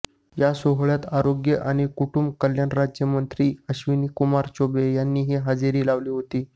या सोहळ्यात आरोग्य आणि कुटुंब कल्याण राज्यमंत्री अश्विनी कुमार चौबे यांनीही हजेरी लावली होती